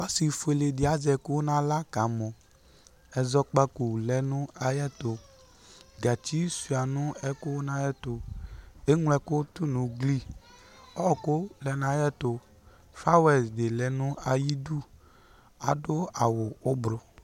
Ɔsi fueledi azɛ ku nawla kamɔ Ɛzɔkpako lɛ nu ayɛtu gatsi sua nu ɛku nayɛtu Eglo ɛku tu nu ugli Ɔwɔku lɛ nu ayɛtu Fawɛl di lɛ nayidu Adu awu ubru